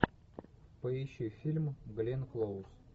поищи фильм гленн клоуз